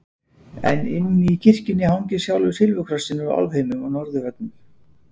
En inni í kirkjunni hangir sjálfur silfurkrossinn úr álfheimum á norðurveggnum.